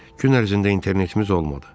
Gün ərzində internetimiz olmadı.